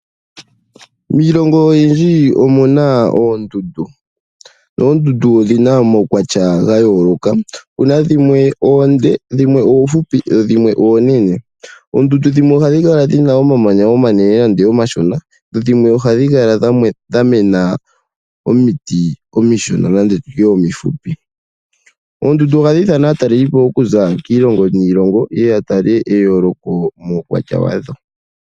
Miilongo oyindji omuna oondundu. Oondundu odhi na omaukwatya ga yooloka, dhimwe oonde, dhimwe oohupi dho dhimwe oonene. Oondundu dhimwe ohadhi kala dhi na omamanya omanene nenge omashona, dho dhimwe ohadhi kala dha mena omiti omishona nenge omihupi. Oondundu ohadhi nana aatalelipo okuza kiilongo niilongo ye ye ya tale eyooloko muukwatya wadho.